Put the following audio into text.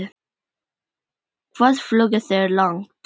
Hvað flugu þeir langt?